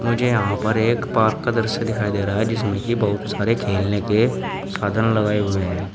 मुझे यहां पर एक पार्क का दृश्य दिखाई दे रहा है जिसमें कि बहुत सारे खेलने के साधन लगाए हुए हैं।